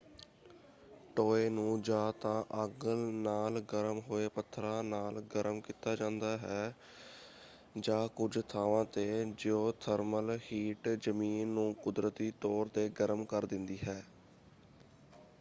ਟੋਏ ਨੂੰ ਜਾਂ ਤਾਂ ਅੱਗ ਨਾਲ ਗਰਮ ਹੋਏ ਪੱਥਰਾਂ ਨਾਲ ਗਰਮ ਕੀਤਾ ਜਾਂਦਾ ਹੈ ਜਾਂ ਕੁੱਝ ਥਾਵਾਂ ‘ਤੇ ਜੀਓਥਰਮਲ ਹੀਟ ਜ਼ਮੀਨ ਨੂੰ ਕੁਦਰਤੀ ਤੌਰ ‘ਤੇ ਗਰਮ ਕਰ ਦਿੰਦੀ ਹੈ।